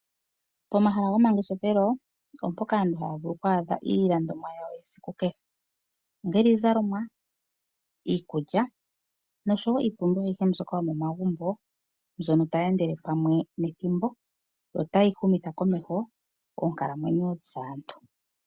Pomahala gomangeshefelo, opo mpoka aantu taa vulu okuadha iilandomwa yawo yesiku kehe, ongele iizalomwa, iikulya noshowo iipumbiwa ayihe mbyoka yomomagumbo mbyono tayi endele pamwe nethimbo notayi humitha komeho oonkalamwenyo dhaantu.